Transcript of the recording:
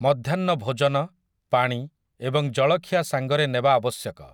ମଧ୍ୟାହ୍ନ ଭୋଜନ, ପାଣି ଏବଂ ଜଳଖିଆ ସାଙ୍ଗରେ ନେବା ଆବଶ୍ୟକ ।